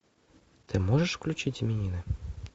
ты можешь включить именины